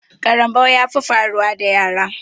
Karambau ya fi faruwa da yara